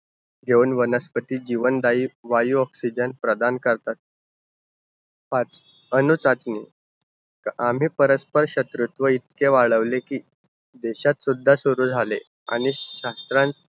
घेऊन वनस्पतीस जीवनदायी वायू oxygen प्रदान करतात. पाच, अणूसाठी. आम्ही परस्पर शत्रुत्व इतके वाढवले, कि देशात सुद्धा सुरु झाले. आणि शास्त्रात